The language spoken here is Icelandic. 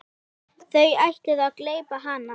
Þú ætlaðir að gleypa hana.